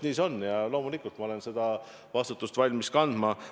Nii see on ja loomulikult ma olen valmis seda vastutust kandma.